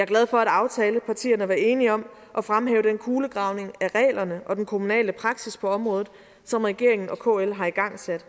glad for at aftalepartierne var enige om at fremhæve den kulegravning af reglerne og den kommunale praksis på området som regeringen og kl har igangsat